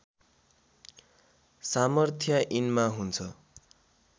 सामर्थ्य यिनमा हुन्छ